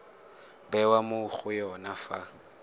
bewa mo go yone fa